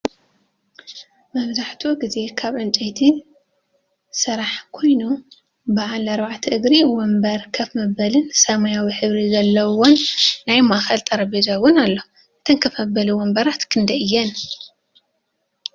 መብዛሕቲኡ ግዜ ካብ ዕንጨይቲ ስራሕ ኮይኑ ብዓል ኣርባዕተ እግሪ ወንበር ከፍ መበሊን ሰማያዊ ሕብሪ ዘለዎን ናይ ማእከል ጠረጵዛ እውን ኣሎ። እተን ከፍ መበሊ ወንበራት ክንደይ እየን?